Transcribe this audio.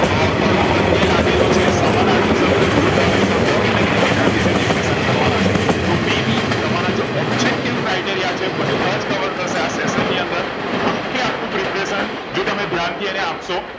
અ કયો પ્રેતેયે લાગેલો છે સમાનર્થી શબ્દ વિરુધરથી શબ્દ અને વ્યાકરણ વિષે discussion કરવા ના છે તો may be તમારા જે objective criteria છે એ બધા જ cover થશે આ session ની અંદર આખે આખું preparation જો તમે ધ્યાન થી અને આપશો